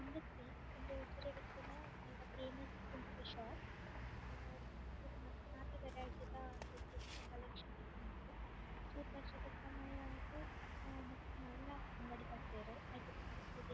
ಇಂದೆಟ್ ಉಂದು ಉಪ್ಪುನ ಮಲ್ಲ ಫೇಮಸ್ ಕುಂಟುದ ಶಾಪ್ ಆ ಮೂಲು ಮಾತ ವೆರೈಟಿ ದ ಡ್ರೆಸ್ಸೆಸ್ ದ ಕಲೆಕ್ಷನ್ ಲ ಉಂಡು ಚೂರು ವರ್ಷದ ಸಮಯ ಆದ್ ಮಸ್ತ್ ಮಲ್ಲ ಅಂಗಡಿ ಪಾರ್ದೆರ್ ಐತ ದುಂಬು ಚೂರು --